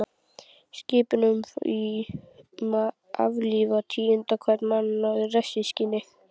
Skipun um að aflífa tíunda hvern mann í refsingarskyni.